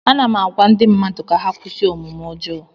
Ana m agwa ndị mmadụ ka ha kwụsị omume ọjọọ